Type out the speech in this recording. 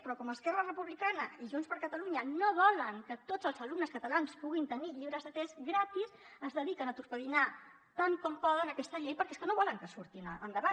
però com esquerra republicana i junts per catalunya no volen que tots els alumnes catalans puguin tenir llibres de text gratis es dediquen a torpedinar tant com poden aquesta llei perquè és que no volen que surti endavant